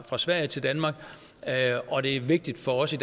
fra sverige til danmark og det er vigtigt for os i